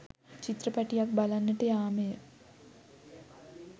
චිත්‍රපටියක් බලන්නට යාමය.